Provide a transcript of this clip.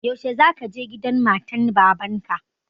Yaushe za ka je gidan matan baban ka?